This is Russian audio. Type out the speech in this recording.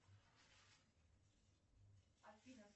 афина